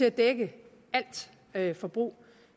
at dække alt forbrug